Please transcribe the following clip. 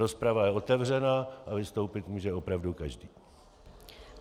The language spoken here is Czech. Rozprava je otevřená a vystoupit může opravdu každý.